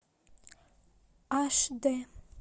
аш д